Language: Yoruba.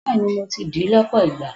Bẹ́ẹ̀ni, mo ti dì ì lọ́pọ̀ ìgbà.